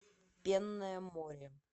пенное море